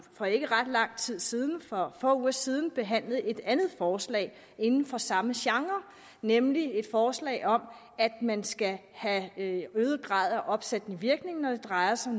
for ikke ret lang tid siden for få uger siden behandlet et andet forslag inden for samme genre nemlig et forslag om at man skal have en øget grad af opsættende virkning når det drejer sig